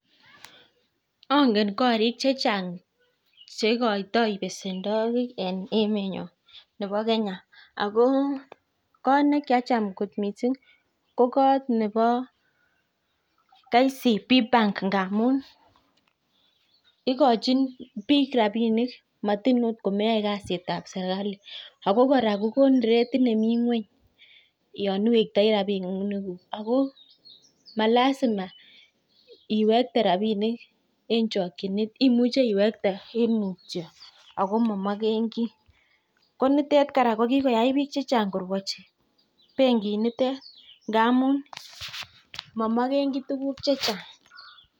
Angen korik chechan'g cheikoitoi besenwogik en emenyo nebo kenya. Ako koot nekiacham kot mising ko KCB bank ngamun ikochin biik rapinin matin agot ko meyae kasitab serkali. Ako kora kokonin ratit nemi ng'weny yon iwektoi rapinikuk. Ako malasima iwekte rapinik eng chokchinet imuche iwekte eng mutio ako mamogegi. Ko nitet kora ko kikoyai biik korwachi ngamun mamogegi tuguk checha'g.